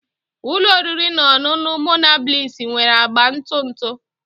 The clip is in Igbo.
Ụlọ oriri na ọṅụṅụ Monabliss nwere agba ntụ ntụ